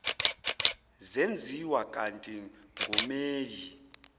zenziwa kati ngomeyi